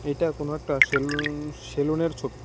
এটা কোনো একটা সেলুন সেলুনের ছবি।